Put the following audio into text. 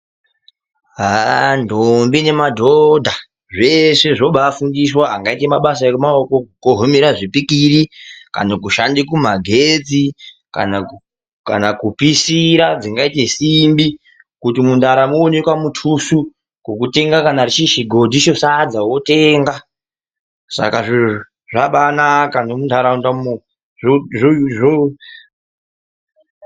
Haa ndombi nemadhodha, zveshe zvobaafundiswa angaite mabasa emaoko, kukohomera zvipikiri kana kushande kumagetsi kana kupisira dzingaite simbi kuti mundaramo, muntu awane kamutuso kokutenga kuti chiri chigodhi chesadza wotenga. Saka zviro zvabaanaka nemuntaraundamo.